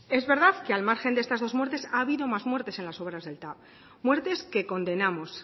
es verdad que al margen de estas dos muertes ha habido más muertes en las obras del tav muertes que condenamos